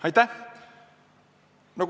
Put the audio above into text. Aitäh!